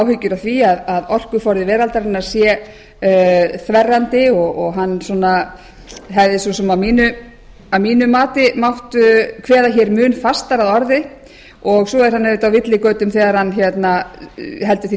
áhyggjur af því að orkuforði veraldarinnar sé þverrandi og hann svona hefði svo sem að mínu mati mátt kveða hér mun fastar að orði svo er hann auðvitað á villigötum þegar hann heldur því